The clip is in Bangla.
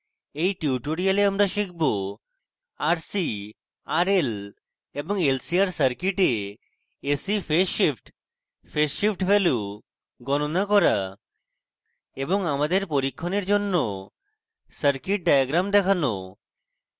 in tutorial আমরা শিখব